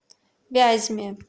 вязьме